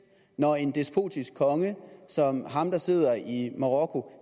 når en despotisk konge som ham der sidder i marokko